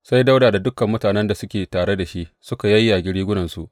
Sai Dawuda da dukan mutanen da suke tare da shi suka yayyage rigunarsu.